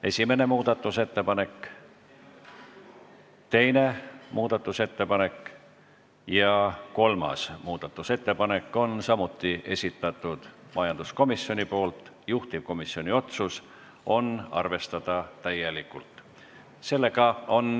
Esimene muudatusettepanek, teine muudatusettepanek ja kolmas muudatusettepanek, juhtivkomisjoni otsus on neid arvestada täielikult.